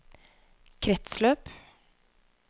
kretsløp